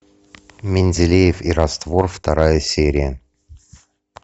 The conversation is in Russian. менделеев и раствор вторая серия